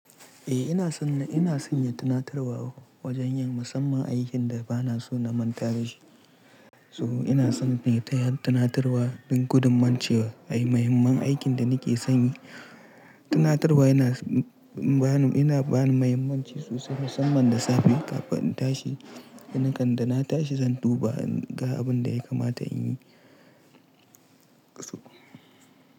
Eh ina son, ina son yin tunatarwa wajen yin musamman aikin da ba na so na manta da shi. So ina son ne ta yin tunatarwa don gudumance muhimman aikin da nake sanyi. Tunatarwa yana ba ni, yana ba ni muhimmanci sosai musamman da safe kafin in tashi. Ni kan da na tashi zan duba in ga abin da ya kamata in yi. So.